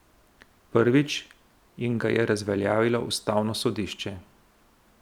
Prvič jim ga je razveljavilo ustavno sodišče.